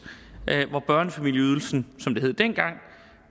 hvor børnefamilieydelsen som det hed dengang